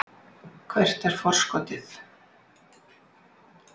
Hvert er forskotið?